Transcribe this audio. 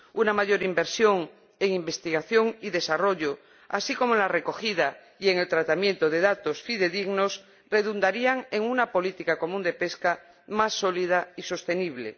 Una mayor inversión en investigación y desarrollo, así como en la recogida y en el tratamiento de datos fidedignos, redundaría en una política común de pesca más sólida y sostenible.